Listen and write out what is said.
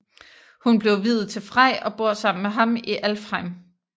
Hun blev viet til Frej og bor sammen med ham i Alfheim